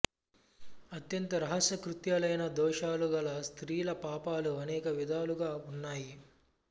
అత్యంత రహస్య కృత్యాలైన దోషాలు గల స్త్రీల పాపాలు అనేక విధాలుగా ఉన్నాయి